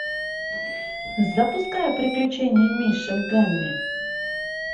запускай приключения мишек гамми